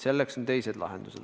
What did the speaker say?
Selleks on teised lahendused.